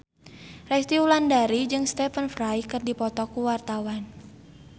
Resty Wulandari jeung Stephen Fry keur dipoto ku wartawan